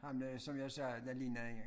Ham der som jeg sagde der ligner en